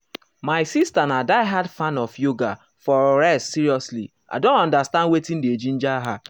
my sister na die-hard fan of yoga for rest seriously i don understand wetin dey ginger her.